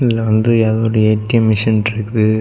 இதல வந்து ஏதோ ஒரு ஏ_டி_எம் மெஷின் இருக்குது.